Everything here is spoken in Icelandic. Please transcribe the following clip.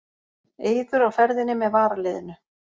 Eiður á ferðinni með varaliðinu